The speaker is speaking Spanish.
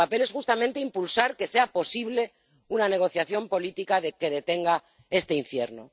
Nuestro papel es justamente impulsar que sea posible una negociación política que detenga este infierno.